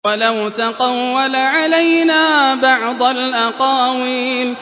وَلَوْ تَقَوَّلَ عَلَيْنَا بَعْضَ الْأَقَاوِيلِ